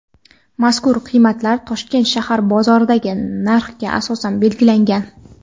mazkur qiymatlar Toshkent shahar bozorlaridagi narxga asosan belgilangan.